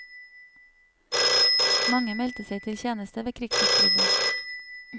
Mange meldte seg til tjeneste ved krigsutbruddet.